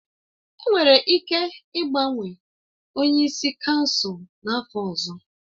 Enwere ike ịgbanwe onye isi kansụl n'afọ ọzọ